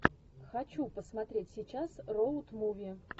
хочу посмотреть сейчас роуд муви